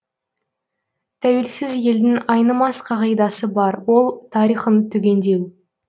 тәуелсіз елдің айнымас қағидасы бар ол тарихын түгендеу